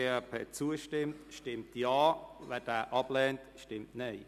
Wer diesem zustimmt, stimmt Ja, wer ihn ablehnt, stimmt Nein.